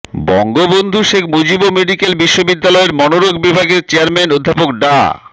Bangabandhu Sheikh Mujib medical বিশ্ববিদ্যালয়ের মনোরোগ বিভাগের চেয়ারম্যান অধ্যাপক ডা